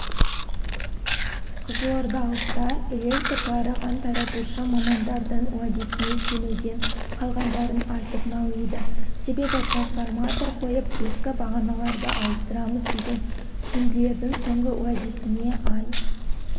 қызылордалықтар электр жарығын таратушы мамандардың уәдесіне сенуден қалғандарын айтып налиды себебі трансформатор қойып ескі бағаналарды ауыстырамыз деген шенділердің соңғы уәдесіне ай